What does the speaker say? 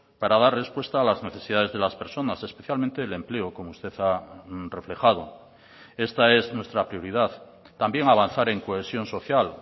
para dar respuesta a las necesidades de las personas especialmente el empleo como usted ha reflejado esta es nuestra prioridad también avanzar en cohesión social